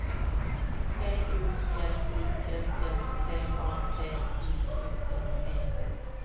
P O L I S S T A T I O N E N